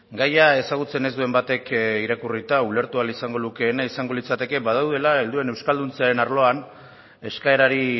gaia ezagutzen ez duen batek irakurrita ulertu ahal izango lukeena izango litzateke badaudela helduen euskalduntzearen arloan eskaerari